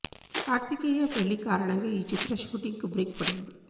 కార్తికేయ పెళ్లి కారణంగా ఈ చిత్ర షూటింగ్కు బ్రేక్ పడింది